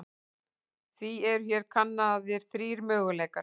Því eru hér kannaðir þrír möguleikar.